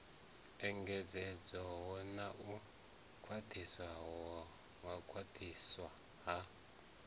engedzedzwaho na u khwaṱhiswa ha